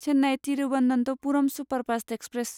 Chennai Thiruvananthapuram superfast express